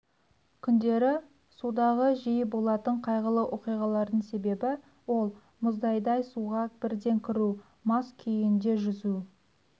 күндері судағы жиі болатын қайғылы оқиғалардың себебі ол мұздайдай суға бірден кіру мас күйінде жүзу